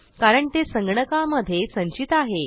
कारण ते संगणकामधे संचित आहे